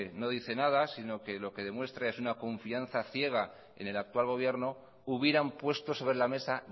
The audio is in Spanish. no dice nada sino que lo que demuestra es una confianza ciega en el actual gobierno hubieran puesto sobre la mesa